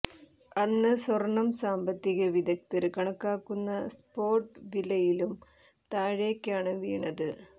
അന്ന് സ്വര്ണം സാമ്പത്തിക വിദഗ്ധര് കണക്കാക്കുന്ന സപോര്ട്ട് വിലയിലും താഴേക്കാണ് വീണത്